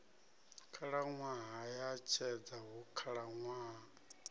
khalaṅwaha ya tshedza hu khalaṅwaha